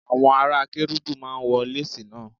Àwọn ará Kérúbù máa ń wọ lásìì náà.